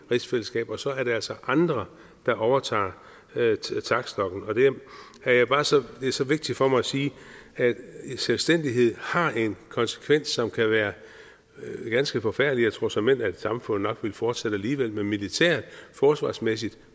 rigsfællesskab og så er der altså andre der overtager taktstokken det er så vigtigt for mig at sige at selvstændighed har en konsekvens som kan være ganske forfærdelig jeg tror såmænd at samfundet nok ville fortsætte alligevel men militært og forsvarsmæssigt